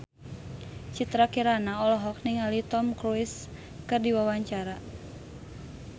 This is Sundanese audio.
Citra Kirana olohok ningali Tom Cruise keur diwawancara